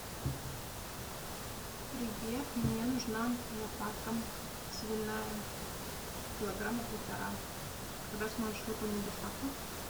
привет мне нужна лопатка свиная килограмма полтора когда сможешь выполнить доставку